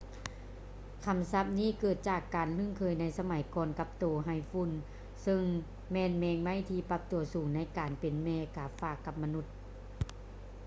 ຄຳສັບນີ້ເກີດມາຈາກການລຶ້ງເຄີຍໃນສະໄໝກ່ອນກັບໂຕໄຮຝຸ່ນເຊິ່ງແມ່ນແມງໄມ້ທີ່ປັບຕົວສູງໃນການເປັນແມ່ກາຝາກກັບມະນຸດ